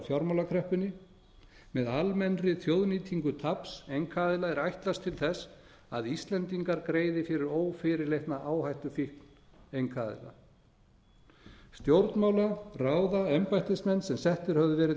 fjármálakreppunni með almennri þjóðnýtingu taps einkaaðila er ætlast til þess að íslendingar greiði fyrir ófyrirleitna áhættufíkn einkaaðila stjórnmála ráða embættismenn sem settir höfðu verið